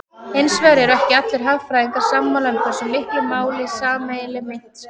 Hins vegar eru ekki allir hagfræðingar sammála um hversu miklu máli sameiginleg mynt skipti.